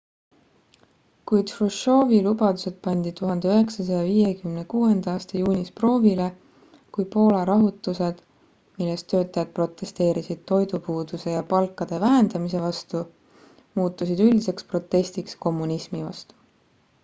kuid hruštšovi lubadused pandi 1956 aasta juunis proovile kui poola rahutused milles töötajad protesteerisid toidupuuduse ja palkade vähendamise vastu muutusid üldiseks protestiks kommunismi vastu